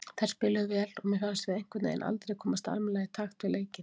Þær spiluðu vel og mér fannst við einhvernveginn aldrei komast almennilega í takt við leikinn.